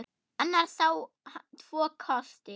Annars á hann tvo kosti.